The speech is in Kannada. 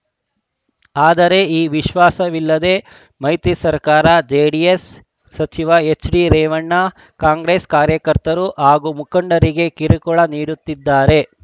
ಆದರೆ ಈ ವಿಶ್ವಾಸವಿಲ್ಲದೆ ಮೈತ್ರಿ ಸರ್ಕಾರದ ಜೆಡಿಎಸ್‌ ಸಚಿವ ಎಚ್‌ಡಿರೇವಣ್ಣ ಕಾಂಗ್ರೆಸ್‌ ಕಾರ್ಯಕರ್ತರು ಹಾಗೂ ಮುಖಂಡರಿಗೆ ಕಿರುಕುಳ ನೀಡುತ್ತಿದ್ದಾರೆ